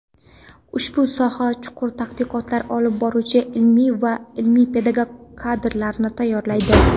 ushbu sohada chuqur tadqiqotlar olib boruvchi ilmiy va ilmiy-pedagog kadrlarni tayyorlaydi.